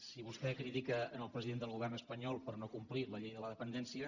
si vostè critica el president del govern espanyol per no complir la llei de la dependència